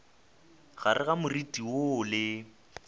gare ga moriti woo le